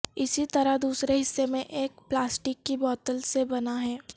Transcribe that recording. اسی طرح دوسرے حصے میں ایک پلاسٹک کی بوتل سے بنا ہے